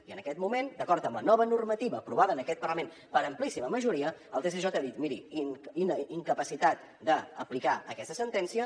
i en aquest moment d’acord amb la nova normativa aprovada en aquest parlament per amplíssima majoria el tsj ha dit miri incapacitat d’aplicar aquesta sentència